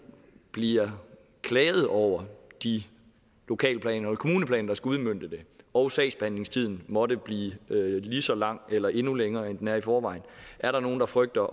bliver klaget over de lokalplaner eller kommuneplaner der skal udmønte det og sagsbehandlingstiden måtte blive lige så lang eller endnu længere end den er i forvejen er der nogen der frygter